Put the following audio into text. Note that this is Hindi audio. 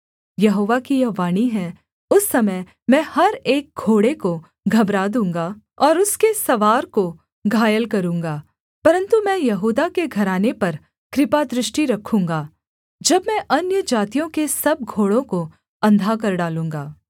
यहोवा की यह वाणी है उस समय मैं हर एक घोड़े को घबरा दूँगा और उसके सवार को घायल करूँगा परन्तु मैं यहूदा के घराने पर कृपादृष्टि रखूँगा जब मैं अन्यजातियों के सब घोड़ों को अंधा कर डालूँगा